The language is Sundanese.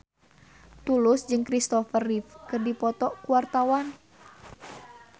Tulus jeung Kristopher Reeve keur dipoto ku wartawan